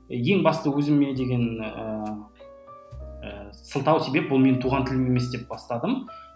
ең басты өзіме деген ііі сылтау себеп ол менің туған тілім емес деп бастадым